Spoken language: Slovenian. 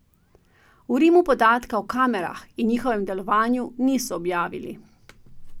V Rimu podatka o kamerah in njihovem delovanju niso objavili.